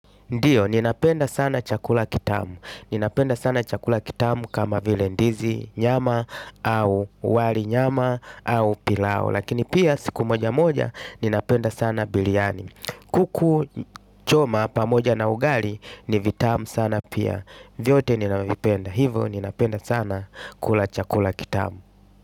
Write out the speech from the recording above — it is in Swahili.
Ndiyo, ninapenda sana chakula kitamu. Ninapenda sana chakula kitamu kama vile ndizi, nyama au wali nyama au pilau. Lakini pia siku moja moja ninapenda sana biryani. Kuku choma pamoja na ugali, ni vitamu sana pia. Vyote ninavipenda. Hivyo, ninapenda sana kula chakula kitamu.